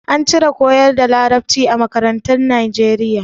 An cire koyar da Larabci a makarantun Nijeriya.